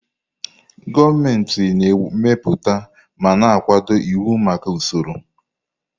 Gọọmenti na-emepụta ma na-akwado iwu maka usoro.